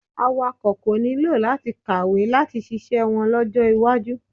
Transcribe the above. Awakọ̀ kò nílò láti kàwé láti ṣiṣẹ́ wọn lọ́jọ́ iwájú.